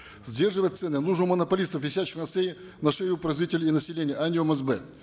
сдерживать цены нужно у монополистов висящих на на шее у производителей и населения а не у мсб